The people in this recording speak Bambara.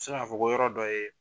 k'a fɔ ko yɔrɔ dɔ ye